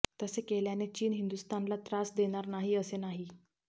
तसे केल्याने चीन हिंदुस्थानला त्रास देणार नाही असे नाही